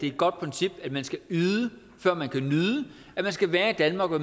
et godt princip at man skal yde før man kan nyde at man skal være i danmark og